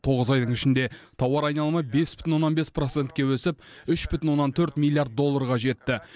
тоғыз айдың ішінде тауар айналымы бес бүтін оннан бес процентке өсіп үш бүтін оннан төрт миллиард долларға жетті